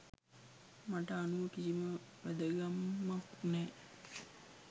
මට අනුව කිසිම වැදගැම්මක් නැහැ